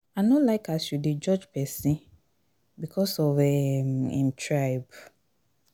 i no like as you dey judge pesin because of um im tribe.